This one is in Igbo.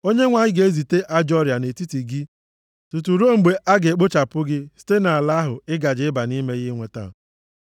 Onyenwe anyị ga-ezite ajọ ọrịa nʼetiti gị tutu ruo mgbe a ga-ekpochapụ gị site nʼala ahụ ị gaje ịba nʼime ya inweta.